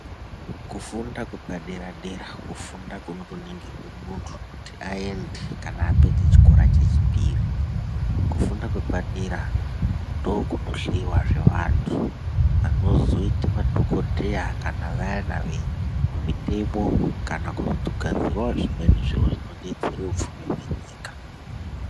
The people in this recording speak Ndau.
Kufunda kwepadera-dera kufunda kunotoningirwa muntu kuti aende kana apedza chikora chechipiri. Kufunda kwepadera ndookunohleiwazve vantu vanozoita madhokodheya kana vayana vemutemo kana kugadzirawo zvimweni zviro zvinodetsera upfumi hwenyika.